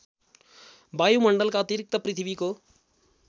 वायुमण्डलका अतिरिक्त पृथ्वीको